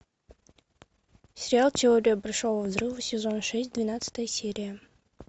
сериал теория большого взрыва сезон шесть двенадцатая серия